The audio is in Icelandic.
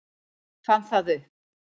Fann það upp.